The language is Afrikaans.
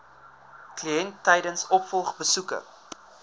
kliënt tydens opvolgbesoeke